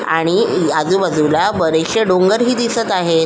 आणि आजूबाजूला बरेचसे डोंगर हि दिसत आहे.